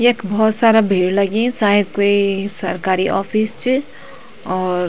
यख भौत सारा भीड़ लगी शायद कोई सरकारी ऑफिस च और --